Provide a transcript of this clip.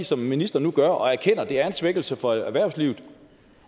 som ministeren nu gør erkende at det er en svækkelse for erhvervslivet